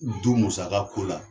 Du musaka ko la.